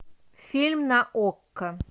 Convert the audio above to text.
фильм на окко